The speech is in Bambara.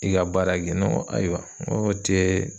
I ka baara kɛ ne ŋo ayiwa ŋ'o tee